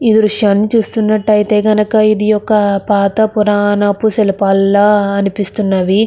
ఇది విషయం చేస్తున్నట్టయితే కనుక ఇది ఒక పాత పురాణపు శిల్పాల్ల అనిపిస్తున్నది.